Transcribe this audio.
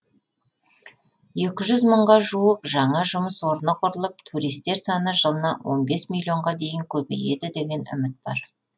екі жүз мыңға жуық жаңа жұмыс орны құрылып туристер саны жылына он бес миллионға дейін көбейеді деген үміт бар